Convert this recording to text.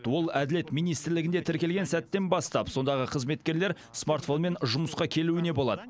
ол әділет министрлігінде тіркелген сәттен бастап сондағы қызметкерлер смартфонмен жұмысқа келуіне болады